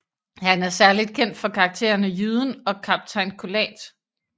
Han er særligt kendt for karakterene Jyden og Kaptajn Colat